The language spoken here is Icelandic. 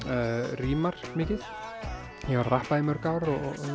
rímar mikið ég var að rappa í mörg ár